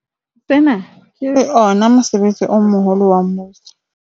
Sena ke ona mosebetsi o moholo wa mmuso.